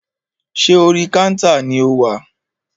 Ṣé orí kántà ni o wà?